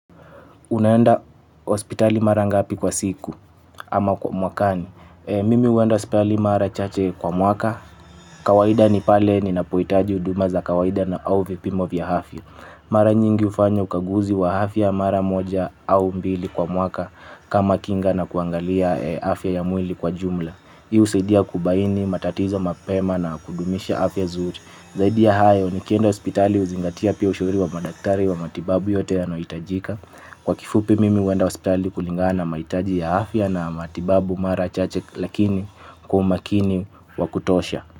Unaenda hospitali mara ngapi kwa siku ama kwa mwakani. Mimi uenda hospali mara chache kwa mwaka. Kawaida ni pale ninapoitaji uduma za kawaida na au vipimo vya hafya. Mara nyingi ufanya ukaguzi wa hafya mara moja au mbili kwa mwaka. Kama kinga na kuangalia hafya ya mwili kwa jumla. Hii usaidia kubaini, matatizo mapema na kudumisha afya zuri. Zaidi ya hayo nikienda hospitali uzingatia pia ushauri wa madaktari wa matibabu yote yanayoitajika. Kwa kifupi mimi huenda hospitali kulingana na maitaji ya afya na matibabu mara chache lakini kwa umakini wa kutosha.